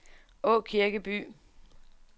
Aakirkeby